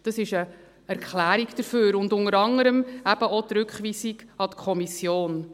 Dies ist eine Erklärung dafür, unter anderem eben auch für die Rückweisung an die Kommission.